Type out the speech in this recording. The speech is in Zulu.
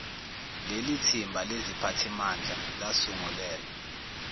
lelithimba leziphathimandla lasungulelwa